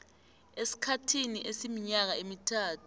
esikhathini esiminyaka emithathu